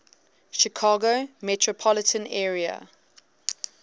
chicago metropolitan area